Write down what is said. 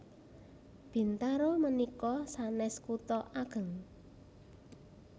Bintaro menika sanes kuto ageng